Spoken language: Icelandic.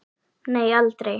Nei, aldrei.